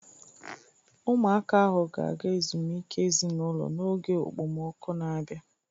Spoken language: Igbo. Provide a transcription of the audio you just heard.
Ụmụaka ahu ga-aga ezumike ezinụlọ n'oge okpomọkụ na-abịa.